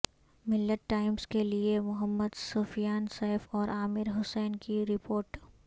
ملت ٹائمز کیلئے محمدسفیان سیف اورعامر حسین کی رپوٹ